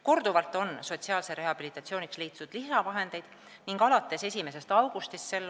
Korduvalt on sotsiaalseks rehabilitatsiooniks leitud lisavahendeid ning alates 1. augustist s.